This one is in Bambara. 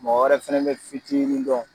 Mɔgɔ wɛrɛ fɛnɛ be fitinin dɔn